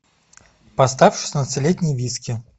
поставь шестнадцатилетний виски